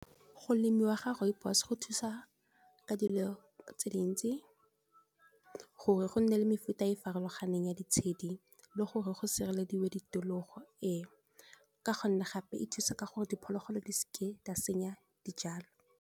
Go lemiwa ga rooibos go thusa ka dilo tse dintsi gore go nne le mefuta e farologaneng ya ditshedi le gore go sirelediwa ditokologo eo, ka gonne gape e thusa ka gore diphologolo di seke di senya dijalo.